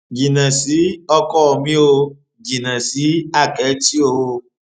jìnnà sí ọkọ mi ò jìnnà sí àkẹtì o